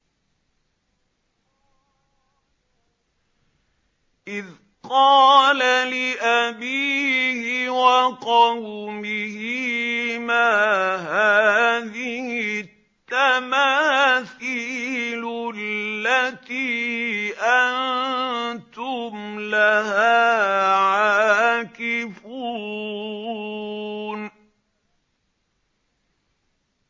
إِذْ قَالَ لِأَبِيهِ وَقَوْمِهِ مَا هَٰذِهِ التَّمَاثِيلُ الَّتِي أَنتُمْ لَهَا عَاكِفُونَ